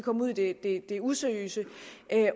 kom ud i det useriøse